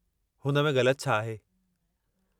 हुन में ग़लति छा आहे?